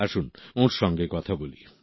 আসুন ওঁর সঙ্গে কথা বলি